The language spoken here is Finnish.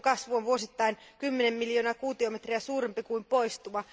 Puuston kasvu on vuosittain 10 miljoonaa kuutiometriä suurempi kuin poistuma.